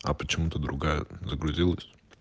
а почему-то другая загрузилась